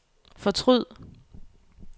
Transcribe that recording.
fortryd